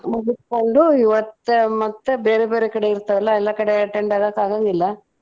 ಮುಗುಸ್ಕೊಂಡು ಇವತ್ತ ಮತ್ತ ಬೇರೆ ಬೇರೆ ಕಡೆ ಇರ್ತಾವಲ್ಲ ಎಲ್ಲಾ ಕಡೆ attend ಆಗಾಕ್ ಆಗಂಗಿಲ್ಲಾ.